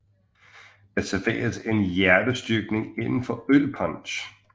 Der serveres en hjertestyrkning inden af ølpunch